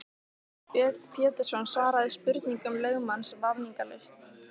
Björn Pétursson svaraði spurningum lögmanns vafningalaust.